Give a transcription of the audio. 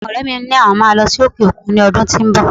Àwọn ọrẹ mi ni àwọn máa lọ sí òkè òkun ní ọdún tó ń bọ̀.